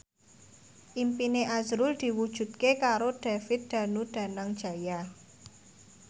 impine azrul diwujudke karo David Danu Danangjaya